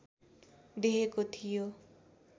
देखेको थियो